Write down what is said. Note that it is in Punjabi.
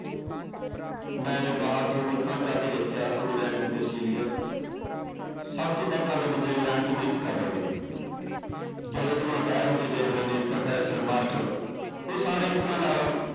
ਮੈਂ ਬਾਹਰ ਦੋ ਮੁਲਕਾਂ ਚ ਜਾ ਕੇ ਦੇਖਿਆ ਇੰਗਲੈਂਡ ਤੇ ਅਸਟ੍ਰੇਲੀਆ ਚ ਸਭ ਤੋਂ ਵੱਧ ਸਾਡੇ ਬੰਦੇ ਇੰਗਲੈਂਡ ਚ ਹੀ ਮਿਹਨਤ ਕਰ ਰਹੇ ਨੇ ਜਿਹੜੇ ਇੱਧਰੋਂ retire ਹੋ ਕੇ ਗਏ ਹੋ ਨੇ ਪ੍ਰੋਫੈਸ਼ਰ ਮਾਸਟਰ ਉਹ ਸਾਰੇ ਇੱਕ ਤਰ੍ਹਾਂ ਨਾਲ